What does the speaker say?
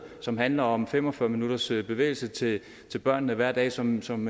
som handler om fem og fyrre minutters bevægelse til børnene hver dag som som